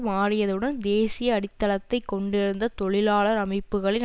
மாறியதுடன் தேசிய அடித்தளத்தை கொண்டிருந்த தொழிலாளர் அமைப்புக்களின்